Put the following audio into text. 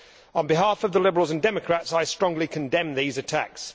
On behalf of the Liberals and Democrats, I strongly condemn these attacks.